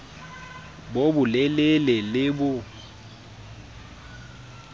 bo bo lelele le bo